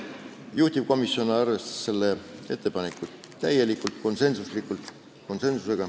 Juhtivkomisjon arvestas seda ettepanekut täielikult, konsensuslikult.